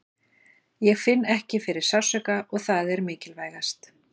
Ég finn ekki fyrir sársauka og það er mikilvægast.